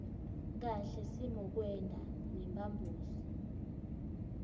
kahle simokwenta nemphambosi